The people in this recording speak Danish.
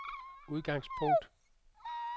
udgangspunkt